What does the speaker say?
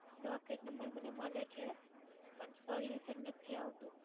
Docket number મને મળે છે પણ Solution નથી આવતું.